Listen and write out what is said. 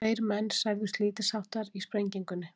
Tveir menn særðust lítilsháttar í sprengingunni